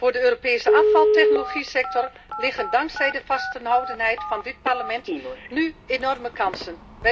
Voor de Europese afvaltechnologiesector zijn er dankzij de vasthoudendheid van dit Parlement nu enorme kansen.